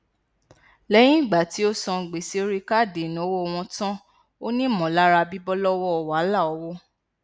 lẹyìn ìgbà tí ó san gbèsè orí káàdì ìnáwó wọn tán ó ní ìmọlára bíbọ lọwọ wàhálà owó